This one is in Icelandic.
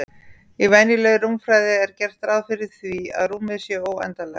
Í venjulegri rúmfræði er gert ráð fyrir því að rúmið sé óendanlegt.